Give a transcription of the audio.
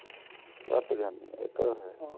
ਘੱਟ ਗਿਆ ਹੁਣ